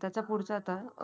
चालतच खाली उतरत